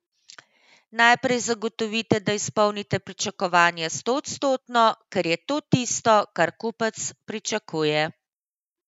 Najprej zagotovite, da izpolnite pričakovanja stoodstotno, ker je to tisto, kar kupec pričakuje.